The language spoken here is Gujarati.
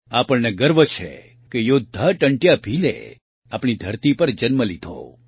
આપણને ગર્વ છે કે યોદ્ધા ટંટ્યા ભીલે આપણી ધરતી પર જન્મ લીધો